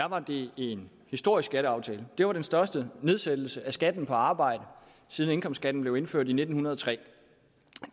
var det en historisk skatteaftale det var den største nedsættelse af skatten på arbejde siden indkomstskatten blev indført i nitten hundrede og tre